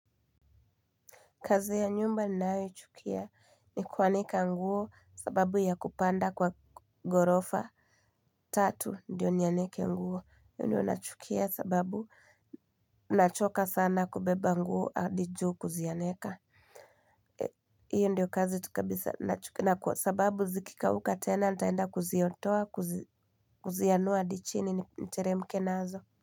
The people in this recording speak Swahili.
Kazi ya nyumba ninayoichukia ni kuanika nguo kwa sababu ya kupanda kwa ghorofa. Tatu ndiyo nianike nguo. Hiyo ndiyo nachukia kwa sababu nachoka sana kubeba nguo hadi juu kuzianika. Hiyo ndiyo kazi tu kabisa nachukia. Kwa sababu zikikauka tena nitaenda kuziondoa kuzianua hadi chini, niteremke nazo.